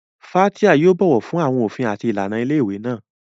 Fathia yóò bọ̀wọ̀ fún àwọn òfin àti ìlànà ilé ìwé náà.